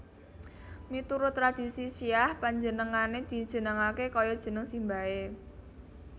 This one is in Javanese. Miturut tradhisi Syiah panjenengane dijenengake kaya jeneng simbahe